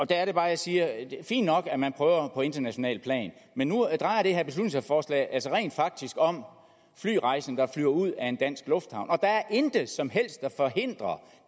der er det bare jeg siger fint nok at man prøver på internationalt plan men nu drejer det her beslutningsforslag sig altså rent faktisk om flyrejsende der flyver ud af en dansk lufthavn og der er intet som helst der forhindrer